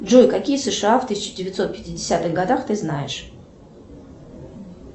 джой какие сша в тысяча девятьсот пятидесятых годах ты знаешь